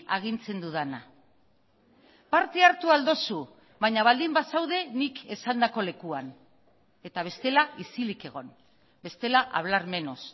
agintzen dudana parte hartu ahal duzu baina baldin bazaude nik esandako lekuan eta bestela isilik egon bestela hablar menos